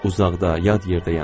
Uzaqda, yad yerdəyəm.